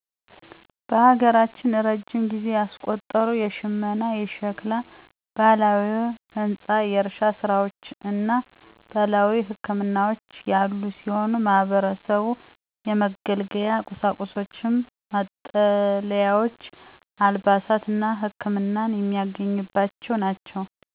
በሀገራችን እረጅም ጊዜ ያስቆጠሩ የሽመና፣ የሸክላ፣ ባህላዊ ህንፃ፣ የእርሻ ስራዎች እና ባህላዊ ህክምናዎች ያሉ ሲሆን ማህበረሰቡ የመገልገያ ቁሳቁሶችን፣ መጠለያዎች፣ አልባሳትን እና ህክመናን የሚያገኝባቸው ናቸው።